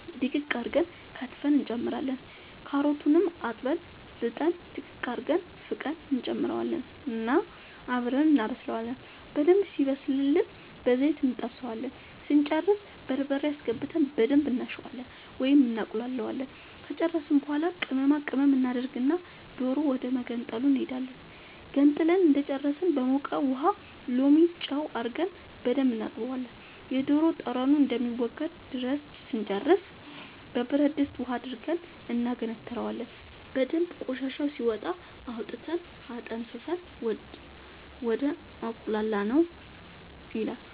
ድቅቅ አርገን ከትፈን እንጨምራለን ካሮቱንም አጥበን ልጠን ድቅቅ አርገን ፍቀን እንጨምረውና አብረን እናበስላለን በደንብ ሲበስልልን በዘይት እንጠብሰዋለን ስንጨርስ በርበሬ አስገብተን በደንብ እናሸዋለን ወይም እናቁላለዋለን ከጨረስን በኃላ ቅመማ ቅመም እናደርግና ዶሮ ወደመገንጠሉ እንሄዳለን ገንጥለን እንደጨረስን በሞቀ ውሃ ሎሚ ጨው አርገን በደንብ እናጥበዋለን የዶሮ ጠረኑ እስከሚወገድ ድረስ ስንጨርስ በብረድስት ውሃ አድርገን እናገነትረዋለን በደንብ ቆሻሻው ሲወጣ አውጥተን አጠንፍፈን ወደ አቁላላነው